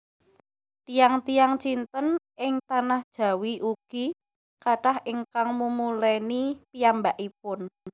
Tiyang tiyang Cinten ing tanah Jawi ugi kathah ingkang mumulèni piyambakipun